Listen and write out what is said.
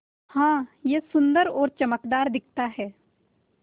हाँ यह सुन्दर और चमकदार दिखता है